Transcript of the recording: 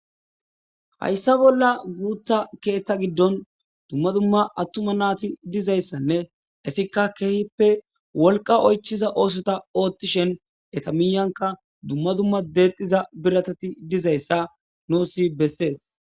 Hayssa bolla keetha hiddon attuma naati dizayssanne etikka wolqa oychoza oothota oothishe dishin eta bolla biratati dizayssa bessees